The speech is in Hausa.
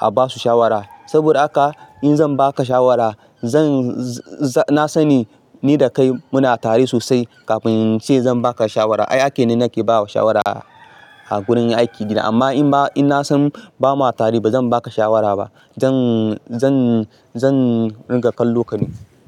a basu shawara. Saboda haka in zan baka shawara zan, na sani ni da kai muna tare sosai kafin ince zan baka shawara. Ai ake ne nake bawa shawara a gurin aiki dina amma in ba, ina san bamu tare ba zan baka shawara ba. Zan, zan, zan riƙa kallo ka ne.